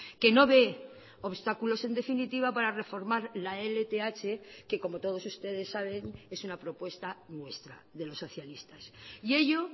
que no ve obstáculos en definitiva para reformar la lth que como todos ustedes saben es una propuesta nuestra de los socialistas y ello